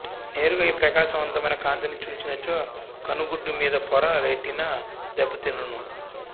నేరుగా ఈ ప్రకాశవంతమైన కాంతిని చూసినచో కనుగుడ్దుమీదిపొర రెటినా దెబ్బతినును